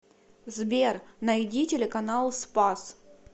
сбер найди телеканал спас